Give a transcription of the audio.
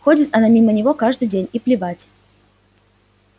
ходит она мимо него каждый день и плевать